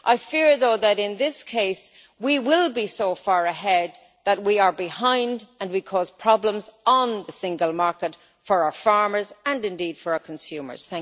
I fear, though, that in this case we will be so far ahead that we are behind and will cause problems on the single market for our farmers, and indeed for our consumers.